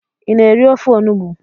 Ị na-eri ofe onụgbụ?